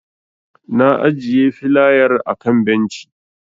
Na ajiye filayar a kan benci.